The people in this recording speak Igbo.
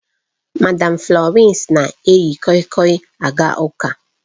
Madam Florence na-eyi koi koi aga ụka